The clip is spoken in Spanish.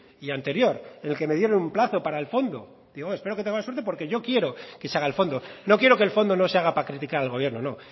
y anterior en el que me dieron un plazo para el fondo digo que espero que tenga más suerte porque yo quiero que se haga el fondo no quiero que el fondo no se haga para criticar al gobierno no